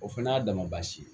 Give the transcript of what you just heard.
O fana y'a dama basi ye